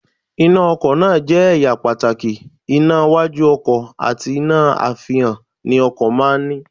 Iná ọkọ̀ náà jẹ́ ẹ̀yà pàtàkì, iná iwájú ọkọ̀ àti iná àfihàn ni ọkọ̀ máa ń ní